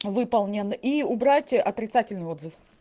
выполнен и убрать отрицательный отзыв